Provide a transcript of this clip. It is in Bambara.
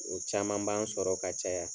O caman b'an sɔrɔ ka caya.